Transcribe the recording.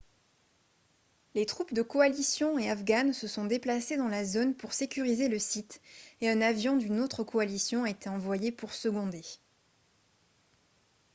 les troupes de coalition et afghanes se sont déplacées dans la zone pour sécuriser le site et un avion d'une autre coalition a été envoyé pour seconder